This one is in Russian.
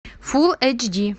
фулл эйч ди